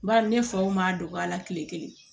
Bari ne faw m'a dɔgɔya kile kelen